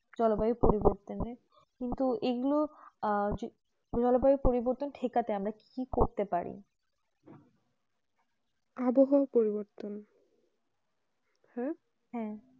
জলবায়ু পরিবতনে কিন্তু এইগুলো আর জলবায়ু পরিবতন ঠিক আছে আমরা কি করতে পারি আবহাওয়া পরিবতন হু